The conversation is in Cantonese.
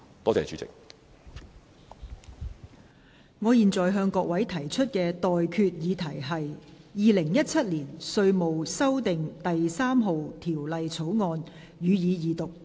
我現在向各位提出的待決議題是：《2017年稅務條例草案》，予以二讀。